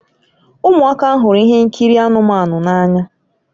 Ụmụaka hụrụ ihe nkiri anụmanụ n'anya